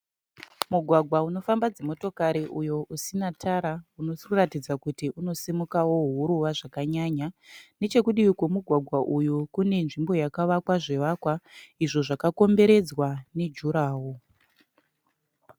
Mugwagwa unofamba dzimotokari uyo usina tara unotaridza kuti unosimuka huruva zvakanyanya nechedivi kwemugwagwa uyu kune nzvimbo yakavakwa zvivakwa izvo zvakakomberedzwa nejuraworo.